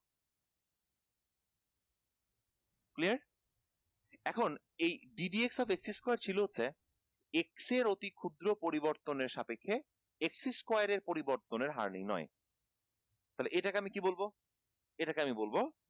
clear এখন এই d dx of x square ছিল হচ্ছে x এর অতি ক্ষুদ্র পরিবর্তনের সাপেক্ষে x square এর পরিবর্তনের হার নির্নয় তালে এটাকে আমি কী বলবো এটাকে আমি বলবো